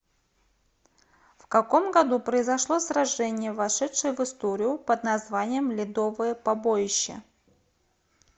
в каком году произошло сражение вошедшее в историю под названием ледовое побоище